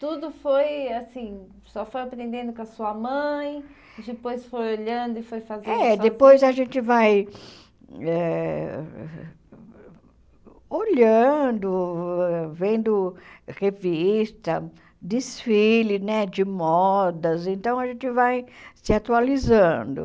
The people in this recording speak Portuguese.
Tudo foi assim, senhora foi aprendendo com a sua mãe, depois foi olhando e foi fazendo... É, depois a gente vai eh olhando, vendo revista, desfile né de modas, então a gente vai se atualizando.